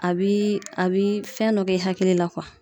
A bi a bi fɛn dɔ kɛ i hakili la kuwa